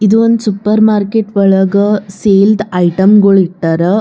ಇದು ಒಂದು supermarket ಒಳಗ್ ಸೇಲ್ ದ್ ಐಟಮ್ ಗೊಳ್ ಇಟ್ಟರ್.